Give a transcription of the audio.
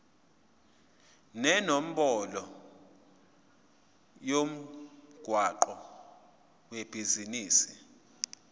nenombolo yomgwaqo webhizinisi